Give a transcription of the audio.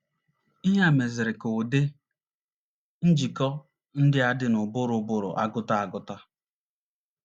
Ihe a meziri ka ụdị njikọ ndị a dị n’ụbụrụ bụrụ agụta agụta.